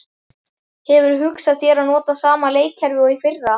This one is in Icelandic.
Hefurðu hugsað þér að nota sama leikkerfi og í fyrra?